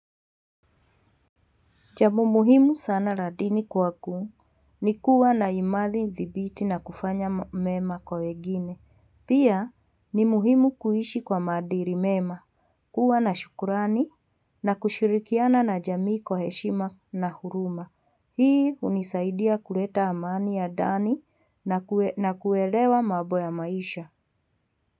Jambo muhimu sana la dini kwangu ni kuwa na imani thibiti na kufanya mema kwa wengine. Pia ni muhimu kuishi kwa madili mema, kuwa na shukurani na kushirikiana na jamii kwa heshima na huruma. Hii hunisaidia kuleta amani ya ndani na kuelewa mambo ya maisha.